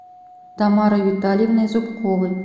тамарой витальевной зубковой